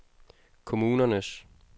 kommunernes